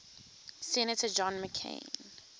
senator john mccain